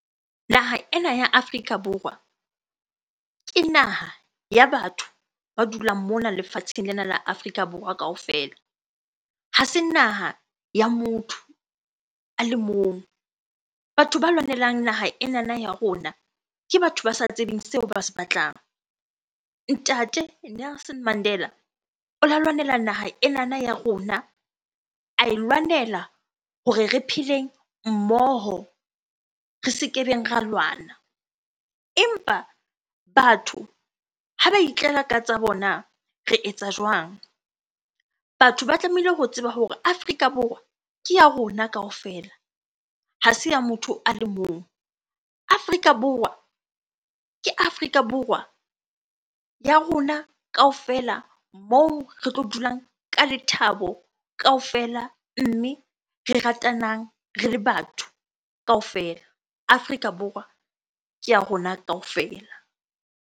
Naha ena ya Afrika Borwa, ke naha ya batho ba dulang mona lefatsheng lena la Afrika Borwa kaofela. Ha se naha ya motho a le mong. Batho ba lwanelang naha enana ya rona, ke batho ba sa tsebeng seo ba se batlang. Ntate Nelson Mandela o lwanela naha enana ya rona, ae lwanela hore re pheleng mmoho, re se kebeng ra lwana. Empa batho ha ba itlela ka tsa bona re etsa jwang? Batho ba tlamehile ho tseba hore Afrika Borwa ke ya rona kaofela, ha se ya motho a le mong. Afrika Borwa, ke Afrika Borwa ya rona kaofela moo re tlo dulang ka lethabo kaofela mme re ratanang re le batho kaofela. Afrika Borwa ke ya rona kaofela.